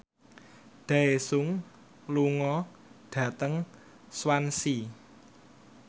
Daesung lunga dhateng Swansea